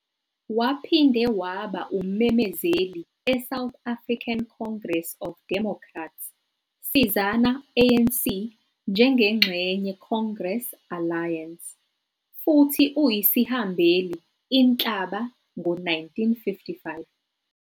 Waphinde waba ummemezeli e-South African Congress of Democrats, sizana-ANC njengengxenye Congress Alliance, futhi uyisihambeli Inhlaba ngo-1955